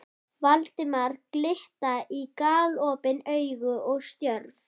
Valdimar glitta í galopin augu og stjörf.